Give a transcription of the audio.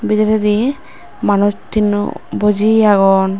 bidiredi manuch tinno buji agon.